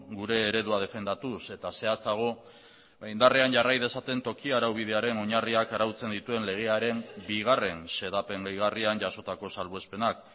gure eredua defendatuz eta zehatzago indarrean jarrai dezaten toki araubidearen oinarriak arautzen dituen legearen bigarren xedapen gehigarrian jasotako salbuespenak